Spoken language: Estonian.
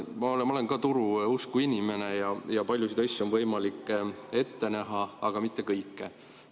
Ma olen ka turu usku inimene ja paljusid asju on võimalik ette näha, aga mitte kõike.